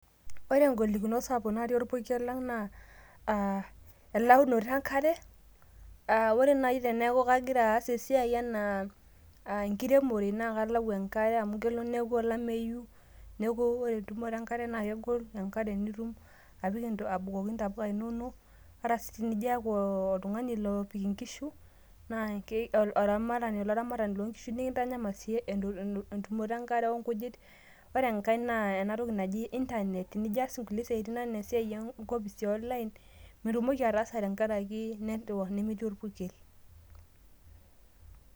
Ore engolikinot sapuk natii enkop ang naa aah elaunoto enkare aah ore nai teneaku kagira aas esiaai anaa enkiremore na kalau enkare amu kelo neaku olameyu neaku ore entumoto enkare na kegol tenkakenya ingira abukoki ntapuka ininok nijaaaku oltungani opik nkishu olaramatani loonkishu nikintanyamal si entumoto enkare onkujit. Ore enkae na enatiki naji internet nijo aas nkulie siatin anaa natii online, meitumoki ataasa itii orpurken.